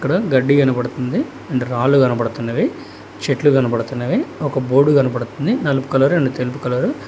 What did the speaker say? ఇక్కడ గడ్డి కనబడుతుంది అండ్ రాళ్లు కనబడుతున్నవి చెట్లు కనబడుతున్నవి ఒక బోర్డ్ కనబడుతుంది నలుపు కలర్ అండ్ తెలుపు కలరు .